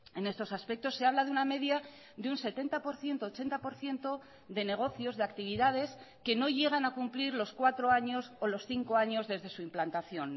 en estos aspectos se habla de una media de un setenta por ciento ochenta por ciento de negocios de actividades que no llegan a cumplir los cuatro años o los cinco años desde su implantación